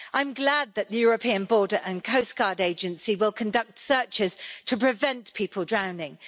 I'm glad that the European Border and Coast Guard Agency will conduct searches to prevent people drowning.